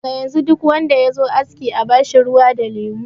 Daga yanzu duk wanda yazo aski a bashi ruwa da lemo.